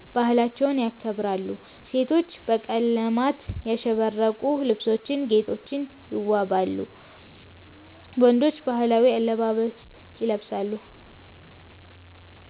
ባህላቸውን ያከብራሉ። ሴቶች በቀለማት ያሸበረቁ ልብሶችና ጌጦች ይዋበዋሉ፣ ወንዶችም ባህላዊ አለባበስ ይለብሳሉ።